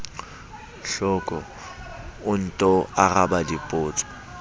hloko o nto araba dipotso